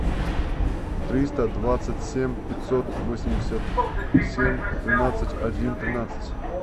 триста двадцать семь пятьсот восемьдесят семь тринадцать один тринадцать